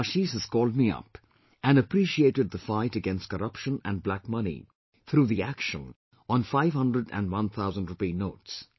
Aashish has called me up and appreciated the fight against corruption and black money through the action on 500 and 1000 Rupee notes